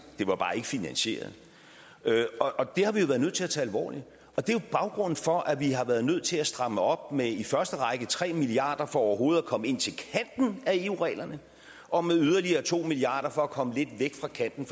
det var bare ikke finansieret det har vi været nødt til at tage alvorligt og det er jo baggrunden for at vi har været nødt til at stramme op med i første række tre milliard kroner for overhovedet at komme ind til kanten af eu reglerne og med yderligere to milliard kroner for at komme lidt væk fra kanten